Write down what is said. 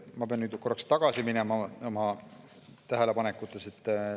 Ma pean nüüd korraks oma tähelepanekutega ajas tagasi minema.